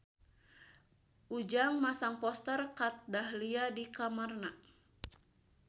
Ujang masang poster Kat Dahlia di kamarna